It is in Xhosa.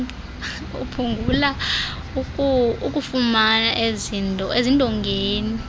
kuphungula ukufuma ezindongeni